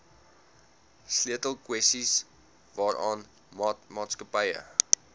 sleutelkwessies waaraan maatskappye